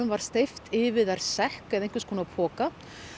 var steypt yfir þær sekk eða einhvers konar poka